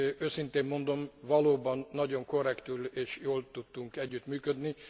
Őszintén mondom, valóban nagyon korrektül és jól tudtunk együttműködni.